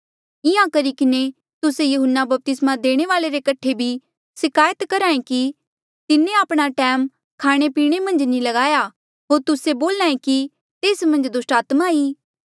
इंहां करी किन्हें तुस्से यहून्ना बपतिस्मा देणे वाल्ऐ रे कठे भी सिकायत करहे कि तिन्हें आपणा टैम खाणेपीणे मन्झ नी लगाया होर तुस्से बोल्हा ऐें कि तेस मन्झ दुस्टात्मा ई